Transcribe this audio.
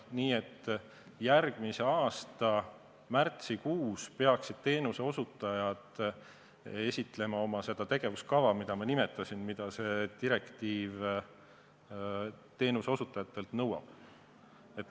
Nii et järgmise aasta märtsikuus peaksid teenuseosutajad esitlema oma tegevuskava, mida ma nimetasin ja mida see direktiiv teenuseosutajatelt nõuab.